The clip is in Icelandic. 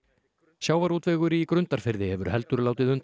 sjávarútvegur í Grundarfirði hefur heldur látið undan